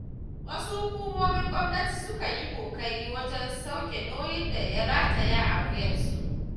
Wasu hukumomin gwamnati sukan yi ƙoƙari wajen sauke nauyin da ya rataya a wuyansu.